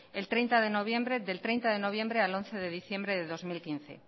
del treinta de noviembre al once de diciembre del dos mil quince